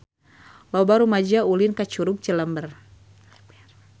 Loba rumaja ulin ka Curug Cilember